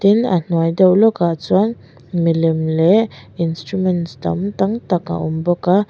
tin a hnuai deuh lawk a chuan mi lem leh instruments dang tam tak a awm bawk a--